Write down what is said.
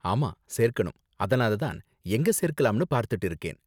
ஆமா, சேர்க்கணும், அதனால தான் எங்க சேர்க்கலாம்னு பார்த்துட்டு இருக்கேன்.